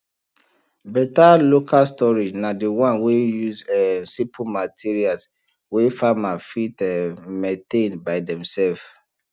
better local storage na the one wey use um simple material wey farmer fit um maintain by demself